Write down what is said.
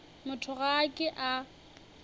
motho ga a ke a